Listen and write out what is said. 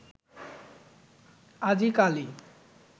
আজি কালি